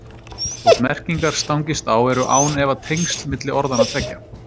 Þótt merkingar stangist á eru án efa tengsl milli orðanna tveggja.